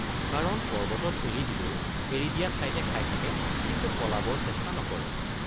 কাৰণ পৰ্বতত এৰি দিলেও এৰি দিয়া ঠাইতে খাই থাকে কিন্তু পলাবৰ চেষ্টা নকৰে।